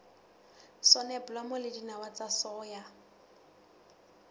soneblomo le dinawa tsa soya